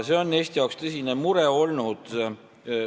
See on Eestile tõsine mure olnud.